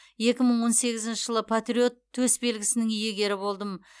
екі мың он сегізінші жылы патриот төсбелгісінің иегері болдым